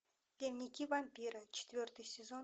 дневники вампира четвертый сезон